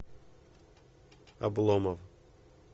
обломов